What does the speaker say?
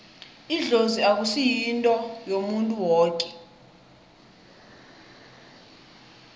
idlozi akusi yinto yomuntu woke